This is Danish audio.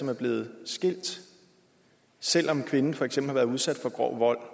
er blevet skilt selv om kvinden for eksempel har været udsat for grov vold